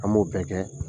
An b'o bɛɛ kɛ